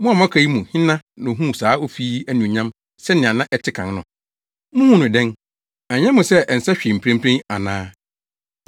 ‘Mo a moaka yi mu hena na ohuu saa ofi yi anuonyam sɛnea na ɛte kan no? Muhu no dɛn nnɛ? Ɛnyɛ mo sɛ ɛnsɛ hwee mprempren ana?